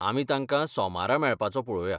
आमी तांकां सोमारा मेळपाचों पळोवया.